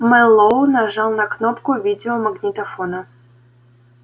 мэллоу нажал на кнопку видеомагнитофона